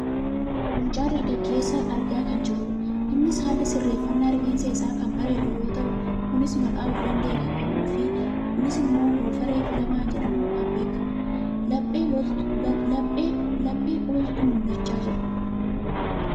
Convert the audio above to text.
mucaa dargaggeessaa argaa kan jirrudha. innis haalli sirreeffannaa rifeensa isa kan bareedu yoo ta'u kunis maqaa of danda'e kan qabuufi kunis ammoo goofaree filamaa jedhamuun kan beekkamudha. laphee oltu mul'achaa jira.